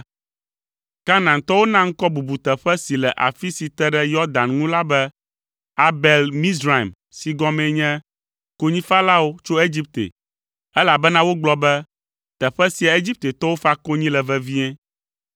Kanaantɔwo na ŋkɔ bubuteƒe si le afi si te ɖe Yɔdan ŋu la be, Abel Mizraim si gɔmee nye “Konyifalawo tso Egipte,” elabena wogblɔ be, “Teƒe sia Egiptetɔwo fa konyi le vevie.”